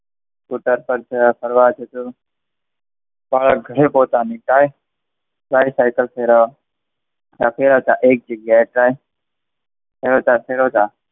Scooter સાથે ફરવા જતો. ઘણી પોતાની થાય. ત્યારે સાઈકલ ફેરવવા હતા એ જગ્યાએ ફેરવતા ફેરવતા,